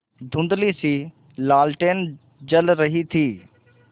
धुँधलीसी लालटेन जल रही थी